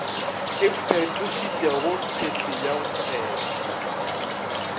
iphetošitšego phehli ya go fehla